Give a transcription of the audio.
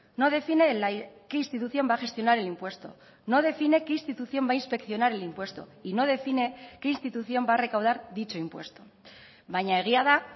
no define qué institución va a gestionar el impuesto no define qué institución va a inspeccionar el impuesto y no define qué institución va a recaudar dicho impuesto baina egia da